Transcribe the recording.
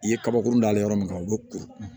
I ye kabakuru da yɔrɔ min o bɛ kuru